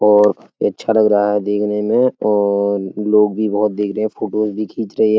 और ये अच्छा लग रहा है देखने में और लोग भी बोहोत देख रहे हैं और फ़ोटोज़ भी खींच रहे --